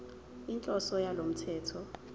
inhloso yalo mthetho